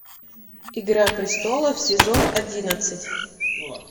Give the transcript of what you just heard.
игра престолов сезон одиннадцать